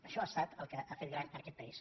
això ha estat el que ha fet gran aquest país